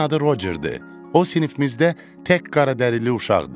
Onun adı Rocerdir, o sinifimizdə tək qaradərili uşaqdır.